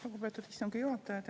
Lugupeetud istungi juhataja!